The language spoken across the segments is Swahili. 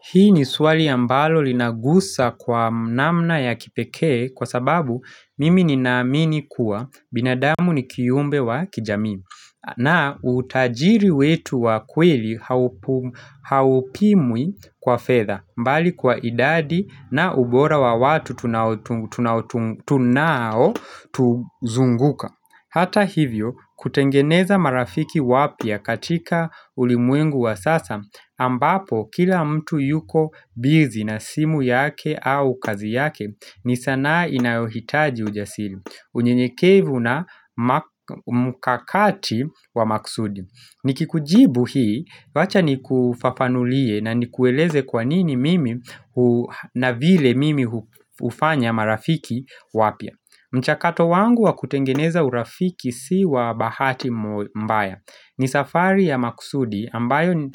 Hii ni swali ambalo linagusa kwa namna ya kipekee kwa sababu mimi ninaamini kuwa binadamu ni kiumbe wa kijamii. Na utajiri wetu wa kweli haupimwi kwa fedha mbali kwa idadi na ubora wa watu tunao tuzunguka. Hata hivyo kutengeneza marafiki wapya katika ulimwengu wa sasa ambapo kila mtu yuko bizi na simu yake au kazi yake ni sanaa inayohitaji ujasiri unyenyekevu na mukakati wa maksudi Nikikujibu hii wacha ni kufafanulie na ni kueleze kwanini mimi na vile mimi ufanya marafiki wapya mchakato wangu wa kutengeneza urafiki siwa bahati mbaya. Ni safari ya maksudi ambayo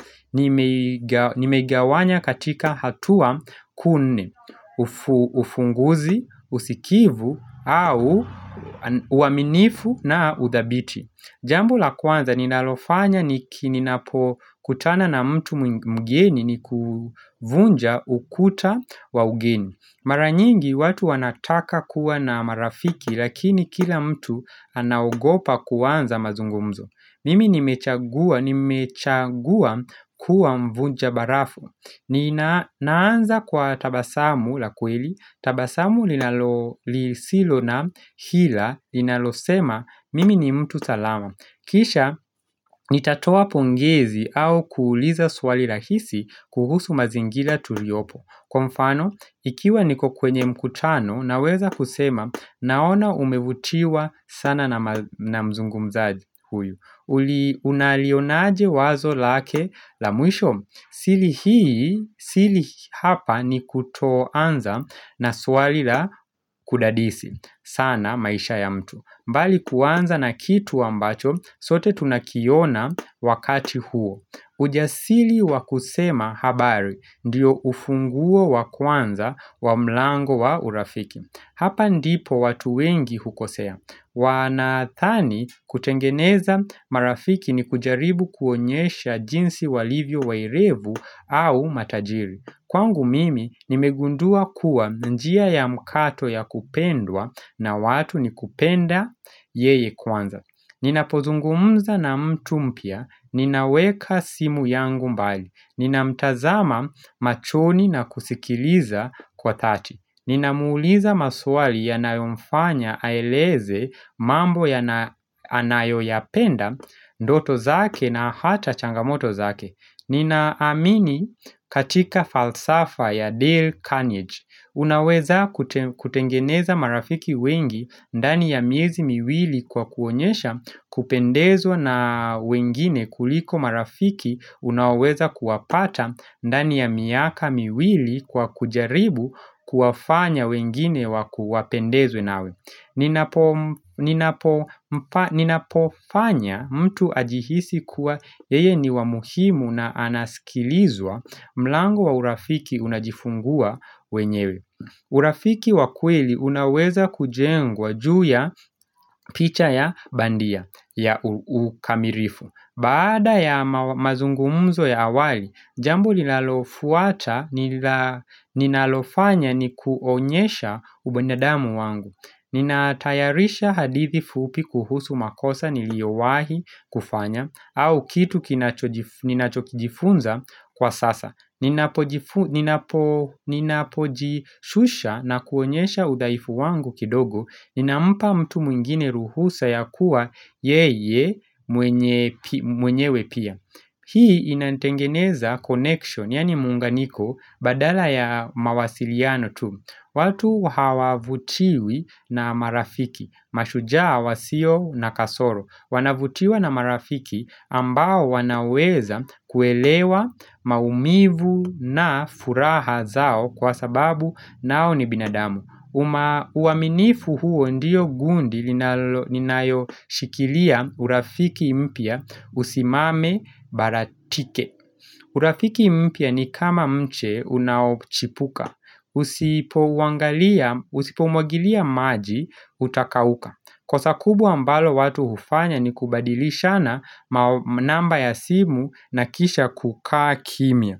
nimegawanya katika hatua kuu nne ufunguzi, usikivu au uwaminifu na udhabiti. Jambo la kwanza ninalofanya niki ninapo kutana na mtu mgeni ni kuvunja ukuta wa ugeni. Maranyingi watu wanataka kuwa na marafiki lakini kila mtu anaogopa kuwanza mazungumzo. Mimi nimechagua kuwa mvunja barafu. Ni naanza kwa tabasamu la kweli, tabasamu linalo lisilo na hila linalo sema mimi ni mtu salama Kisha nitatoa pongezi au kuuliza swali rahisi kuhusu mazingila tuliopo Kwa mfano, ikiwa niko kwenye mkutano naweza kusema naona umevutiwa sana na mzungumzaji huyu Uli unalionaje wazo lake la mwisho sili hii, sili hapa ni kutoanza na swali la kudadisi sana maisha ya mtu mbali kuanza na kitu ambacho, sote tunakiona wakati huo Ujasili wa kusema habari, ndiyo ufunguo wa kuanza wa mlango wa urafiki Hapa ndipo watu wengi hukosea Wanadhani kutengeneza marafiki ni kujaribu kuonyesha jinsi walivyo wairevu au matajiri Kwangu mimi nimegundua kuwa njia ya mkato ya kupendwa na watu ni kupenda yeye kwanza Nina pozungumza na mtu mpya, ninaweka simu yangu mbali Nina mtazama machoni na kusikiliza kwa thati Nina muuliza maswali ya nayomfanya aeleze mambo anayo yapenda doto zake na hata changamoto zake Ninaamini katika falsafa ya Dale Carnage Unaweza kutengeneza marafiki wengi ndani ya miezi miwili kwa kuonyesha kupendezwa na wengine kuliko marafiki Unaoweza kuwapata ndani ya miaka miwili kwa kujaribu kuwafanya wengine waku wapendezwe nawe Ninapofanya mtu ajihisi kuwa yeye ni wa muhimu na anaskilizwa mlango wa urafiki unajifungua wenyewe urafiki wa kweli unaoweza kujengwa juu ya picha ya bandia ya ukamirifu Baada ya mazungumuzo ya awali, jambo linalofuata ninalofanya ni kuonyesha ubinadamu wangu Ninatayarisha hadithi fupi kuhusu makosa niliowahi kufanya au kitu ninachokijifunza kwa sasa Ninapojishusha na kuonyesha udhaifu wangu kidogo Inampa mtu mwingine ruhusa ya kuwa yeye mwenyewe pia Hii inanitengeneza connection yani munganiko badala ya mawasiliano tu watu hawavutiwi na marafiki Mashujaa wasio na kasoro Wanavutiwa na marafiki ambao wanaweza kuelewa maumivu na furaha zao kwa sababu nao ni binadamu uwaminifu huo ndiyo gundi ninayo shikilia urafiki mpya usimame baratike urafiki mpya ni kama mche unaochipuka Usipo uangalia, usipo umwagilia maji utakauka kosa kubwa ambalo watu hufanya ni kubadilishana ma namba ya simu na kisha kukaa kimya.